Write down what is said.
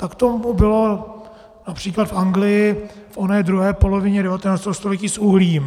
Tak tomu bylo například v Anglii v oné druhé polovině 19. století s uhlím.